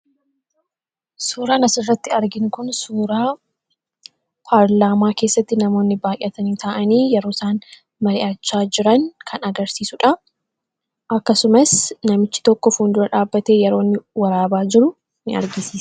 suuraa nasirratti argin kun suuraa paarlaamaa keessatti namoonni baayyatanii ta'anii yeroo isaan mali'achaa jiran kan agarsiisuudha akkasumas namichi tokko fuundura dhaabbatee yeroo waraabaa jiru in argise